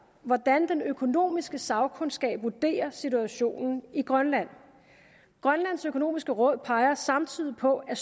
hvordan den økonomiske sagkundskab vurderer situationen i grønland grønlands økonomiske råd peger samtidig på at